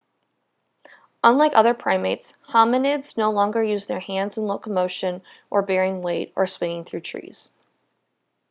unlike other primates hominids no longer use their hands in locomotion or bearing weight or swinging through the trees